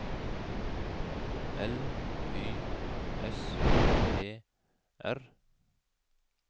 L Y S E R